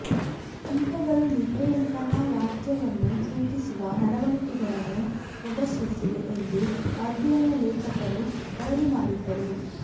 ಕೀಟಗಳು ನಿದ್ರೆಯಂತಹ ರಾಜ್ಯವನ್ನು ಸೂಚಿಸುವ ನಡವಳಿಕೆಗಳನ್ನು ಪ್ರದರ್ಶಿಸಿವೆ ಎಂದು ಅಧ್ಯಯನ ಲೇಖಕರು ವರದಿ ಮಾಡಿದರು